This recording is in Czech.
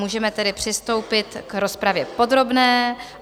Můžeme tedy přistoupit k rozpravě podrobné.